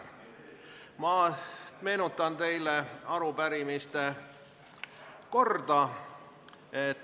Ma meenutan teile arupärimiste korda.